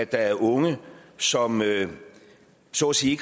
der er unge som så at sige